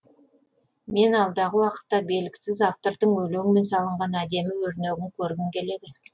мен алдағы уақытта белгісіз автордың өлеңмен салынған әдемі өрнегін көргім келеді